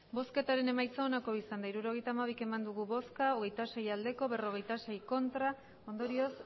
hirurogeita hamabi eman dugu bozka hogeita sei bai berrogeita sei ez ondorioz